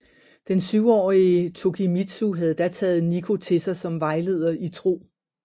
Den syvårige Tokimitsu havde da taget Nikko til sig som vejleder i tro